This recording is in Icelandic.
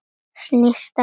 Snýst á hæli.